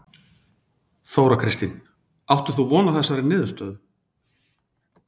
Þóra Kristín: Áttir þú von á þessari niðurstöðu?